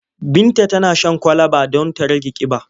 Binta tana shan kwalaba don ta rage ƙiba.